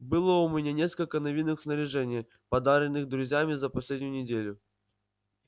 было у меня несколько новинок в снаряжении подаренных друзьями за последнюю неделю